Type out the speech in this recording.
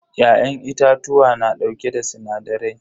Ya'yan itatuwa na dauke da sinadarai.